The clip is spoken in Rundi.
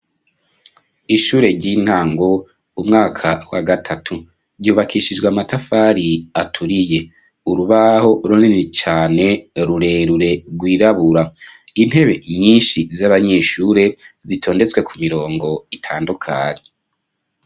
Ishure ry'intango, umwaka wa gatatu, ryubakishijwe amatafari aturiye. Urubaho runini cane rurerure rwirabura. Intebe nyinshi z'abanyeshure zitondetswe ku mirongo itandukanye.